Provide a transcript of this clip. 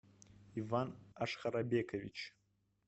иван ашхарабекович